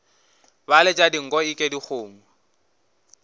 ba letša dinko eke dikgomo